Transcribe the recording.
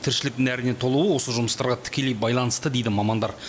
тіршілік нәріне толуы осы жұмыстарға тікелей байланысты дейді мамандар